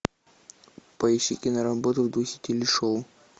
поищи киноработу в духе телешоу